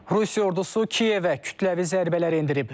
Rusiya ordusu Kiyevə kütləvi zərbələr endirib.